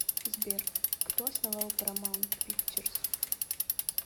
сбер кто основал парамаунт пикчерз